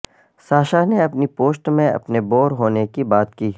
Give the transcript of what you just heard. Sasha نے اپنی post میں اپنے بور ہونے کی بات کی